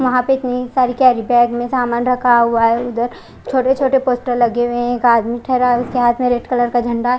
वहां पर इतनी सारी केरी बेग में सामान रखा हुआ है उधर छोटे छोटे पोस्टर लगे हुए है एक आदमी ठहरा है उसके हाथ में रेड कलर का झंडा--